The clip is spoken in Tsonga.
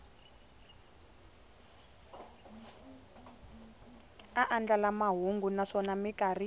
a andlala mahungu naswona mikarhi